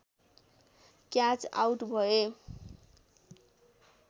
catch out भए